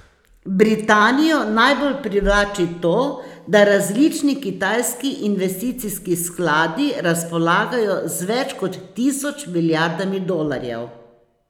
Britanijo najbolj privlači to, da različni kitajski investicijski skladi razpolagajo z več kot tisoč milijardami dolarjev.